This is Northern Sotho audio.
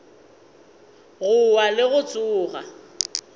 go wa le go tsoga